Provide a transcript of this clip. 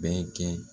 Bɛɛ kɛ